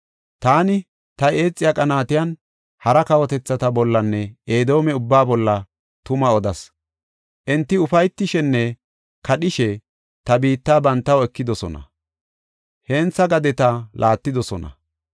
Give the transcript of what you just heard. Taani, ta eexiya qaanatiyan hara kawotethata bollanne Edoome ubba bolla tuma odas. Enti ufaytishenne kadhishe ta biitta bantaw ekidosona; hentha gadeta laattidosona.